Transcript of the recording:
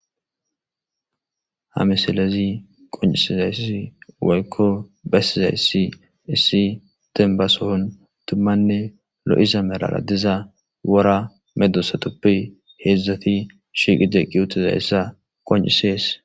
ha misalezi qoncisizayssi woykko basizayssi issi denbasohon tummanne lo7iza melara diza wora medosatoppi heedzdzati shiiqi de qiyutiza essa qoncisees